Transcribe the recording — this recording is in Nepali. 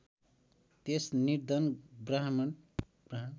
त्यस निर्धन ब्राह्मण